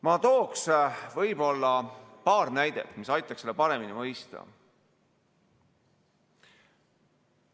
Ma toon võib-olla paar näidet, mis aitaks seda paremini mõista.